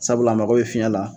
Sabula a mago be fiɲɛ la